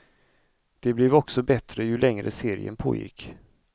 Det blev också bättre, ju längre serien pågick.